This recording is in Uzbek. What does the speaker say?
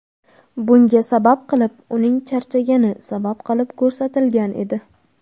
Bunga sabab qilib, uning charchagani sabab qilib ko‘rsatilgan edi .